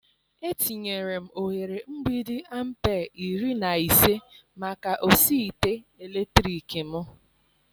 Etinyere m oghere mgbidi ampere iri na ise maka osi ite eletrik m.